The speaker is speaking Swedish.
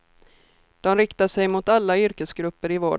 De riktar sig mot alla yrkesgrupper i vården.